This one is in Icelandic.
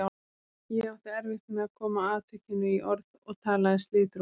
Ég átti erfitt með að koma atvikinu í orð og talaði slitrótt.